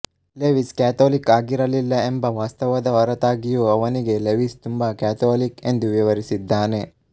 Lewis Catholic ಆಗಿರಲಿಲ್ಲ ಎಂಬ ವಾಸ್ತವದ ಹೊರತಾಗಿಯೂ ಅವನಿಗೆ ಲೆವಿಸ್ ತುಂಬಾ ಕ್ಯಾಥೋಲಿಕ್ ಎಂದು ವಿವರಿಸಿದ್ದಾನೆ